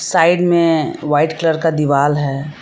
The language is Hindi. साइड में व्हाइट कलर का दिवाल है।